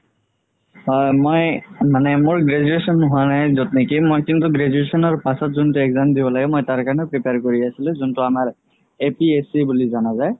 হয় মই মানে মোৰ graduation হুৱা নাই য'ত নেকি কিন্তু graduation ৰ পাছত যোনটো exam দিব আগে মই তাৰ কাৰণে prepare কৰি আছিলো যোনতো আমাৰ APSC বুলি যানা যাই